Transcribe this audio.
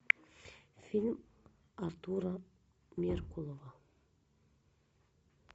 фильм артура меркулова